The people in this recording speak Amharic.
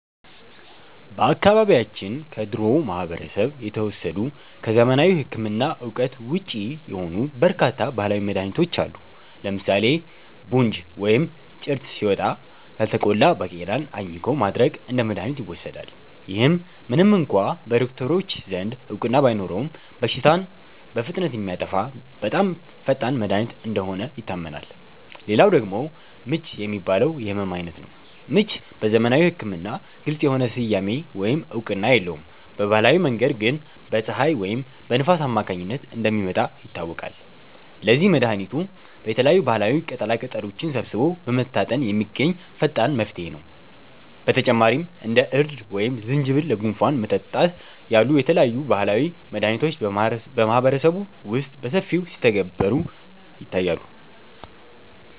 በአካባቢያችን ከድሮው ማህበረሰብ የተወሰዱ፣ ከዘመናዊ ሕክምና እውቀት ውጪ የሆኑ በርካታ ባህላዊ መድኃኒቶች አሉ። ለምሳሌ 'ቡንጅ' (ወይም ጭርት) ሲወጣ፣ ያልተቆላ ባቄላን አኝኮ ማድረቅ እንደ መድኃኒት ይወሰዳል። ይህ ምንም እንኳ በዶክተሮች ዘንድ እውቅና ባይኖረውም፣ በሽታውን በፍጥነት የሚያጠፋ በጣም ፈጣን መድኃኒት እንደሆነ ይታመናል። ሌላው ደግሞ 'ምች' የሚባለው የሕመም ዓይነት ነው። ምች በዘመናዊ ሕክምና ግልጽ የሆነ ስያሜ ወይም እውቅና የለውም፤ በባህላዊ መንገድ ግን በፀሐይ ወይም በንፋስ አማካኝነት እንደሚመጣ ይታወቃል። ለዚህም መድኃኒቱ የተለያዩ ባህላዊ ቅጠላቅጠሎችን ሰብስቦ በመታጠን የሚገኝ ፈጣን መፍትሄ ነው። በተጨማሪም እንደ እርድ ወይም ዝንጅብል ለጉንፋን መጠጣት ያሉ የተለያዩ ባህላዊ መድኃኒቶች በማህበረሰቡ ውስጥ በሰፊው ሲተገበሩ ይታያሉ